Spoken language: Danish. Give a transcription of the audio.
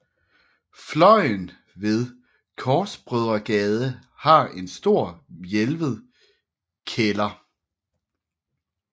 Fløjen ved Korsbrødregade har en stor hvælvet kælder